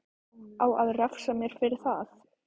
Á að refsa mér fyrir það?